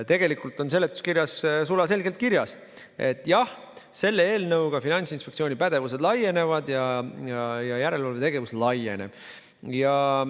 Tegelikult on seletuskirjas sulaselgelt öeldud, et jah, selle eelnõuga Finantsinspektsiooni pädevus laieneb ja järelevalve laieneb.